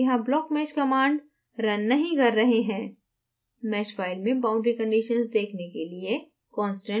ध्यान दें हम यहाँ blockmesh command रन नहीं कर रहे हैं mesh file में boundary conditions देखने के लिए